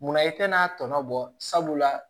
Munna i tɛna tɔɔnɔ bɔ sabula